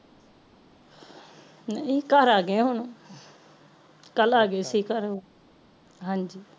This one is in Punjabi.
ਨਈ ਘਰ ਆਗੇ ਹੋਣ ਕਲ ਆਗੇ ਸੀ ਘਰੇ ਹਾਂਜੀ